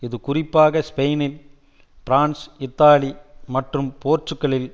இது குறிப்பாக Spain France Italy மற்றும் போர்த்துக்கலில்